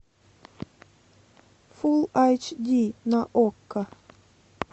фулл айч ди на окко